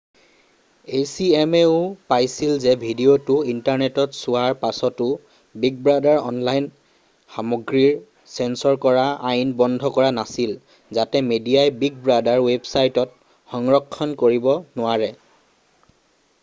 acma-ও পাইছিল যে ভিডিঅ'টো ইণ্টাৰনেটত চোৱাৰ পাছতো বিগ ব্ৰাদাৰে অনলাইন সামগ্ৰীৰ চেঞ্চৰ কৰা আইন বন্ধ কৰা নাছিল যাতে মেডিয়াই বিগ ব্ৰাদাৰ ৱেবছাইটত সংৰক্ষণ কৰিব নোৱাৰে।